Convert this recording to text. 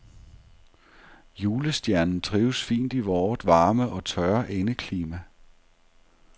Julestjernen trives fint i vort varme og tørre indeklima.